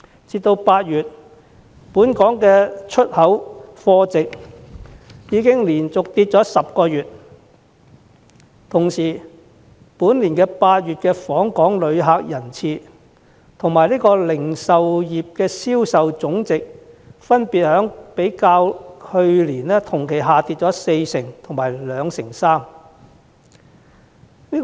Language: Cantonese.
截至8月，本港的出口貨值已經連續下跌了10個月，今年8月的訪港旅客人次及零售業銷售總值亦分別較去年同期下跌了四成及二成三。